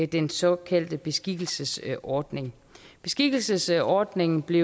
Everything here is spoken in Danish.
den såkaldte beskikkelsesordning beskikkelsesordningen blev